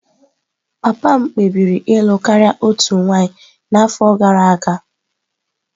Papa m kpebiri ịlụ karịa otu nwanyị n'afọ gara aga.